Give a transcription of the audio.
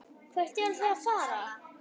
Hvert eruð þið að fara?